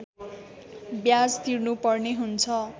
ब्याज तिर्नुपर्ने हुन्छ